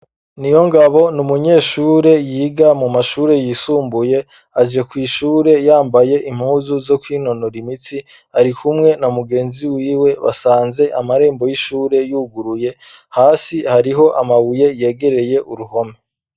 Niyongabo ni umunyeshure yiga mu mashure yisumbuye aje kw'ishure yambaye impuzu zo kwinonora imitsi ari kumwe na mugenzi wiwe basanze amarembo y'ishure yuguruye hasi hariho amabuye yegereye uruhome.